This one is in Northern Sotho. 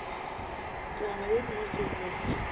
taba ye nngwe ke gore